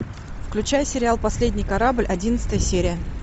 включай сериал последний корабль одиннадцатая серия